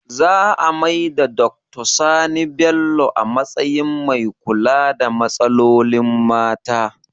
Za a maida Doctor Sani Bello a matsayin mai kula da matsalolin mata